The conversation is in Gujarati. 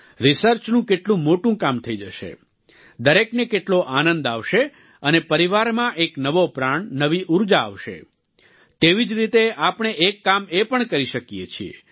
રિસર્ચનું કેટલું મોટું કામ થઈ જશે દરેકને કેટલો આનંદ આવશે અને પરિવારમાં એક નવો પ્રાણ નવી ઉર્જા આવશે તેવી જ રીતે આપણે એક કામ એ પણ કરી શકીએ છીએ